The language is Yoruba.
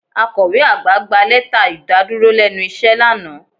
Akọ̀we àgbà gba lẹ́tà ìdàdúró lẹ́nu iṣẹ́ lánàá